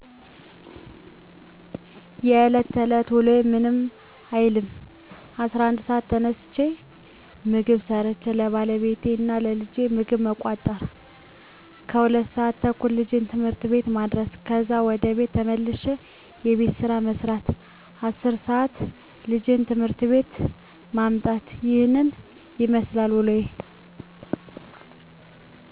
የለት ተለት ውሎዬ ምንም አይልም። 11:00 ሰዓት ተነስቼ ምግብ ሠርቸ ለባለቤቴ እና ለልጄ ምግብ መቋጠር ከዛ 2:30 ልጄን ት/ት ቤት ማድረስ ከዛ ወደ ቤት ተመልሼ የቤት ስራ መስራት 10:00 ልጄን ከት/ት ቤት ማምጣት ይህንን ይመስላል ውሎዬ።